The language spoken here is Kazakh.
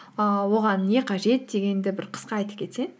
ііі оған не қажет дегенді бір қысқа айтып кетсең